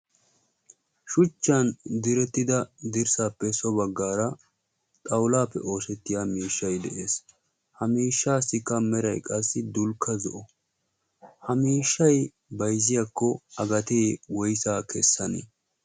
Shuchchan direttida dirssaappe so baggaara xawulaappe oosettiya miishshay de'ees. Ha miishshaassikka meray qassi dulkka zo'o. Ha miishshay bayzziyakko a gatee woyisaa kessanee?